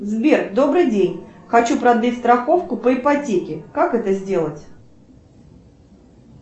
сбер добрый день хочу продлить страховку по ипотеке как это сделать